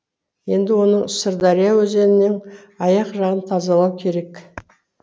енді оның сырдария өзенінің аяқ жағын тазалау керек